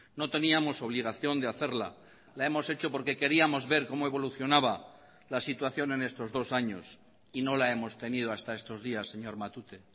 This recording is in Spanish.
no teníamos obligación de hacerla la hemos hecho porque queríamos ver cómo evolucionaba la situación en estos dos años y no la hemos tenido hasta estos días señor matute